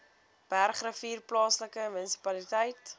bergrivier plaaslike munisipaliteit